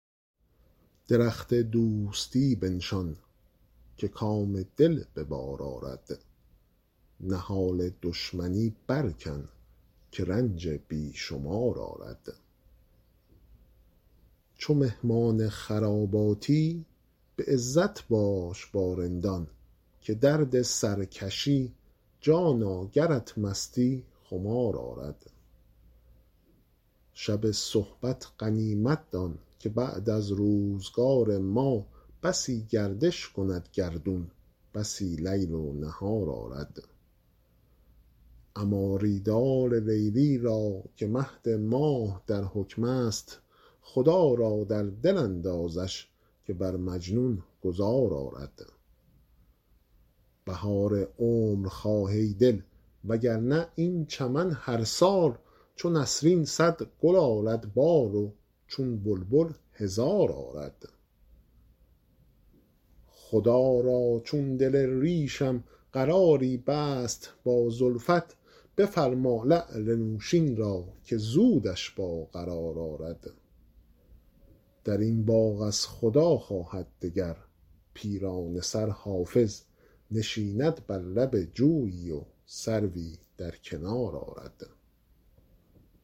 درخت دوستی بنشان که کام دل به بار آرد نهال دشمنی برکن که رنج بی شمار آرد چو مهمان خراباتی به عزت باش با رندان که درد سر کشی جانا گرت مستی خمار آرد شب صحبت غنیمت دان که بعد از روزگار ما بسی گردش کند گردون بسی لیل و نهار آرد عماری دار لیلی را که مهد ماه در حکم است خدا را در دل اندازش که بر مجنون گذار آرد بهار عمر خواه ای دل وگرنه این چمن هر سال چو نسرین صد گل آرد بار و چون بلبل هزار آرد خدا را چون دل ریشم قراری بست با زلفت بفرما لعل نوشین را که زودش با قرار آرد در این باغ از خدا خواهد دگر پیرانه سر حافظ نشیند بر لب جویی و سروی در کنار آرد